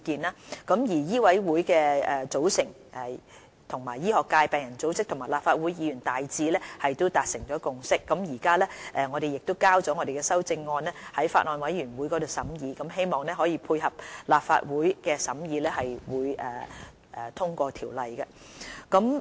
就香港醫務委員會的組成，醫學界、病人組織及立法會議員大致達成共識，我們亦已提交修正案予法案委員會審議，希望配合立法會的審議及通過條例草案。